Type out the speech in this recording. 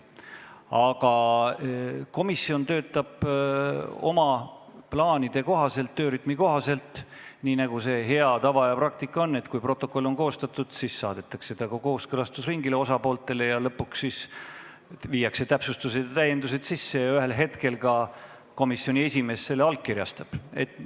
Aga komisjon töötab oma plaanide kohaselt, töörütmi kohaselt, nii nagu hea tava ja praktika meil on, et kui protokoll on koostatud, siis saadetakse see osapooltele kooskõlastusringile, seejärel viiakse sisse täpsustused ja täiendused ning ühel hetkel komisjoni esimees allkirjastab selle.